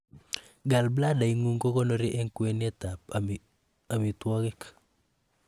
gallbladder ingung kokonori en kwenet ab amitwogik